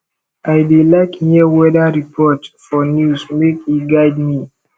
i dey like hear weather report for news make e guide me